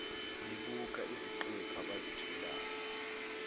bebuka iziqephu abazitholayo